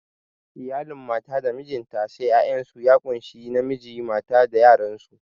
Iyalin mata da mijinta sai 'ya'yansu ya kunshi namiji mata da yaransu